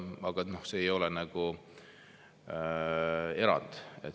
Aga see ei ole erand.